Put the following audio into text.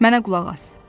Mənə qulaq as!